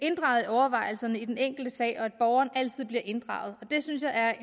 overvejelserne i den enkelte sag og at borgeren altid bliver inddraget og det synes jeg er